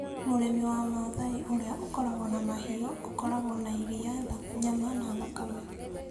Mũrĩmĩ wa Masai ũrĩa ũkoragwo na mahiũ ũkoragwo na iria, nyama, na thakame.